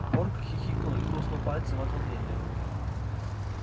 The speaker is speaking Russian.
порк хихикнул и хрустнул пальцем от волнения